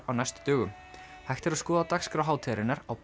á næstu dögum hægt er að skoða dagskrá hátíðarinnar á